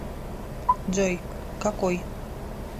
джой какой